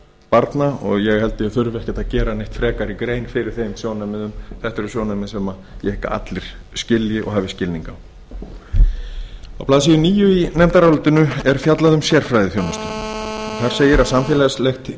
barna og ég held að ég þurfi ekkert að gera neitt frekari grein fyrir þeim sjónarmiðum þetta eru sjónarmið sem ég hygg að allir skilji og hafi skilning á á blaðsíðu níu í nefndarálitinu er fjallað um sérfræðiþjónustu þar segir samfélagslegt